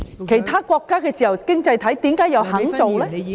其他自由經濟體為何又肯這樣做？